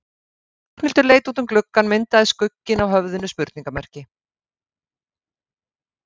Ragnhildur leit út um gluggann myndaði skugginn af höfðinu spurningarmerki.